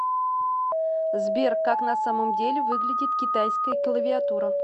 сбер как на самом деле выглядит китайская клавиатура